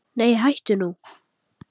Nei hættu nú!